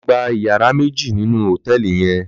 Lò gbá iyàrá méji ninú hótèlí yèn